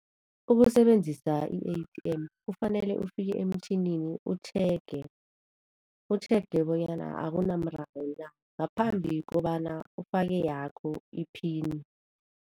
Ukusebenzisa i-A_T_M kufanele ufike emtjhinini utjhege, utjhege bonyana akunamraro na ngaphambi kobana ufake yakho i-pin.